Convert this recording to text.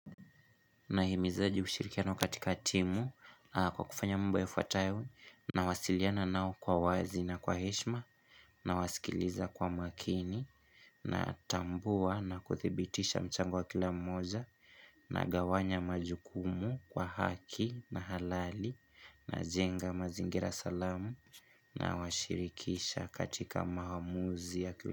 Nahimizaje ushirikiano katika timu? Kwa kufanya mambo yafuatayo nawasiliana nao kwa wazi na kwa heshima nawasikiliza kwa makini natambua na kuthibitisha mchango wa kila mmoja nagawanya majukumu kwa haki na halali najenga mazingira salama nawashirikisha katika maamuzi ya kila.